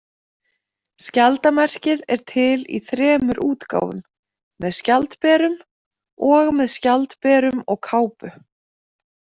Skjaldarmerkið er til í þremur útgáfum, með skjaldberum, og með skjaldberum og kápu.